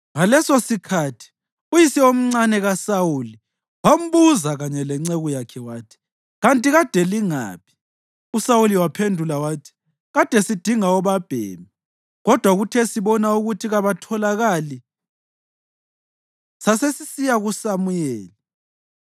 Ngalesosikhathi uyise omncane kaSawuli wambuza kanye lenceku yakhe wathi, “Kanti kade lingaphi?” USawuli waphendula wathi, “Kade sidinga obabhemi. Kodwa kuthe sibona ukuthi kabatholakali, sasesisiya kuSamuyeli.”